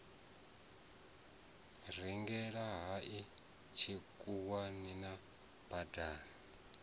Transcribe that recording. rengele hangei tshikhuwani mabai a